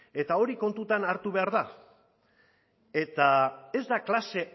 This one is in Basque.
eta hori kontutan hartu behar da eta ez da klase